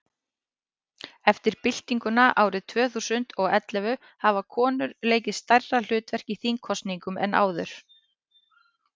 eftir byltinguna árið tvö þúsund og og ellefu hafa konur leikið stærra hlutverk í þingkosningum en áður